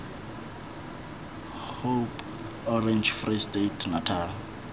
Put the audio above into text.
hope orange free state natal